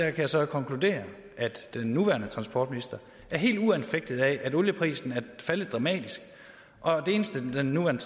at jeg så kan konkludere at den nuværende transportminister er helt uanfægtet af at olieprisen er faldet dramatisk det eneste den nuværende